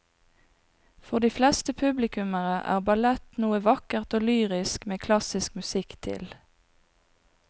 For de fleste publikummere er ballett noe vakkert og lyrisk med klassisk musikk til.